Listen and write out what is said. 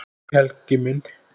Hæ Helgi minn.